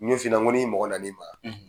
Nin ni mɔgɔ na n'i ma,